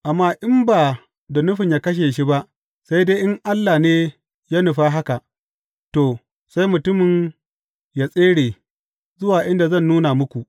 Amma in ba da nufin yă kashe shi ba, sai dai in Allah ne ya nufa haka, to, sai mutumin yă tsere zuwa inda zan nuna muku.